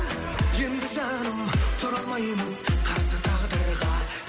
енді жаным тұра алмаймыз қарсы тағдырға